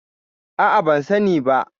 A'a, ban sani ba.